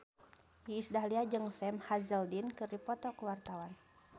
Iis Dahlia jeung Sam Hazeldine keur dipoto ku wartawan